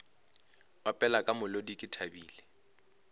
opela ka molodi ke thabile